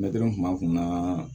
Mɛtiri kun b'a kun na